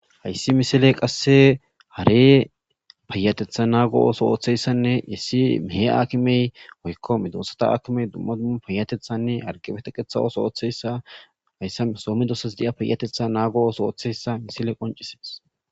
Ha missile qaseka hare payateta nago otho othiyaysanne issi he akime woyko medosatu akime duma duma payatetanne harge teqeta oso othiyaysa haysan so medosas diya payateta nago oso othiyaysa missile qonc'ises.